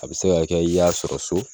A bi se ka kɛ i y'a sɔrɔ so